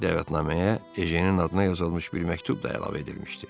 Dəvətnaməyə Ejenin adına yazılmış bir məktub da əlavə edilmişdi.